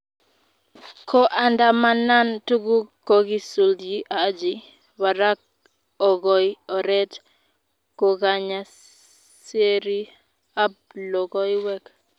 Koandamanan tugul kokisutyi Haji barak okoi oree kokanya serii ab lokoiweek.